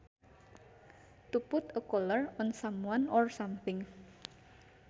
To put a collar on someone or something